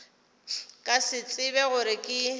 ka se tsebe gore ke